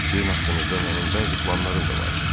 Sizin haqqınızda mənim bəzi planlarım da vardı.